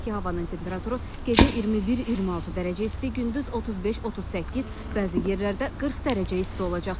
Belə ki, havanın temperaturu gecə 21-26 dərəcə isti, gündüz 35-38, bəzi yerlərdə 40 dərəcə isti olacaq.